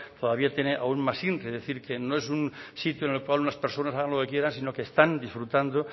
todavía tiene aún más inri es decir que no es un sitio en el cual unas personas hagan lo que quieran sino que están disfrutando